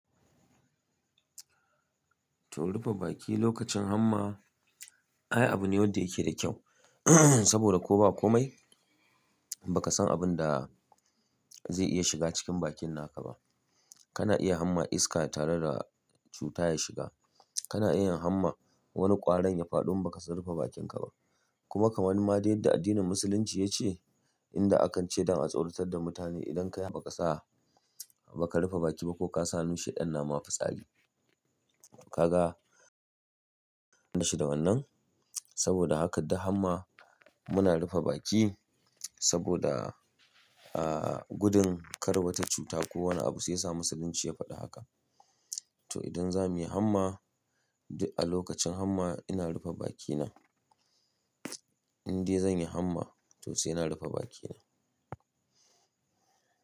To rufe baki lokacin hamma, ai abu ne wanda yake da kyau saboda ko ba komai ba ka san abin da zai iya shiga cikin bakin naka ba. Kana iya hamma iska tare da cuta ya shiga. Kana iya hamma wani ƙwarin ya faɗo in ba ka rufe bakinka ba. Kuma kamar ma wani ma da yadda addinin musulunci ya ce, inda akan ce don a tsauratar da mutane idan ka yi haka ba ka sa, ba ka rufe baki ba ko ka sa hannu sheɗan nama fitsari. Kaga bashi da wannan. Saboda haka duk hamma muna rufe baki saboda, ah, gudun kar wata cuta ko wani abu sai ya sa musulunci ya faɗi haka. To idan za mu yi hamma, duk a lokacin hamma ina rufe bakina. In dai zan yi hamma, to sai na rufe bakina.